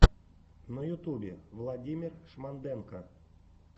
на ютубе владимир шмонденко